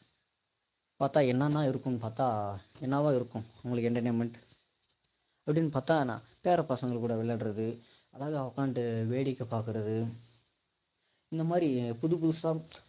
பார்த்தா என்னவா இருக்குன்னு என்னவா இருக்கும் உங்களுக்கு entertainment அப்படின்னு பார்த்தா பேர பசங்க கூட விளையாடுறது அழகா உட்கார்ந்துட்டு வேடிக்கை பார்க்கிறது இந்த மாதிரி புது புதுசா